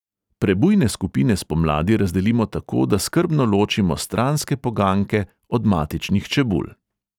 Prebujne skupine spomladi razdelimo tako, da skrbno ločimo stranske poganjke od matičnih čebul.